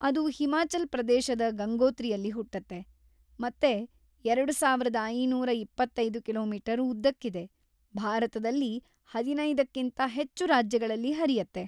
ಅದು ಹಿಮಾಚಲ್‌ ಪ್ರದೇಶದ ಗಂಗೋತ್ರಿಯಲ್ಲಿ ಹುಟ್ಟತ್ತೆ, ಮತ್ತೆ ಎರಡುಸಾವಿರದ ಐನೂರ ಇಪ್ಪತ್ತೈದು ಕಿಲೋ ಮೀಟರ್ ಉದ್ದಕ್ಕಿದೆ, ಭಾರತದಲ್ಲಿ ಹದಿನೈದಕ್ಕಿಂತಾ ಹೆಚ್ಚು ರಾಜ್ಯಗಳಲ್ಲಿ ಹರಿಯತ್ತೆ.